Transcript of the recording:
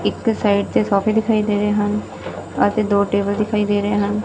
ਇੱਕ ਸਾਈਡ ਤੇ ਸੋਫ਼ੇ ਦਿਖਾਈ ਦੇ ਰਹੇ ਹਨ ਅਤੇ ਦੋ ਟੇਬਲ ਦਿਖਾਈ ਦੇ ਰਹੇ ਹਨ।